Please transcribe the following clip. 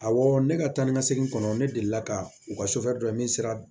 Awɔ ne ka taa ni ka segin kɔnɔ ne deli la ka u ka don n sera